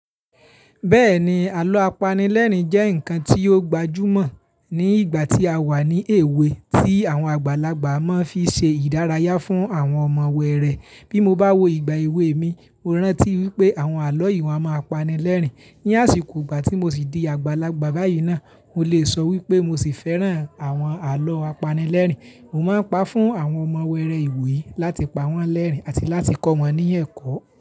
Bẹ́ẹ̀ni, àlọ́ apanilẹ́rìn jẹ́ ǹkan tí ó gbajúmọ̀ ní ìgbà tí a wà ní èwe tí àwọn àgbàlagbà máa ń fi ṣe ìdárayá fún àwọn ọmọ wẹ́rẹ́. Bí mo bá wo ìgbà èwe mi, mo rántí wípé àwọn àlọ́ yi wọ̀n a máa pa ni lẹ́rìn. Ní àsìkò ìgbà tí mo sì di àgbàlagbà báyì náà mo lè sọ wípé mo sì fẹ́ràn àwọn àlọ́ apanilẹ́rìn mo máa ń pa fún àwọn ọmọ wẹ́rẹ́ ìwòyí láti pawọ́n lẹ́rìn àti láti kọ́ wọn ní ẹ̀kọ́.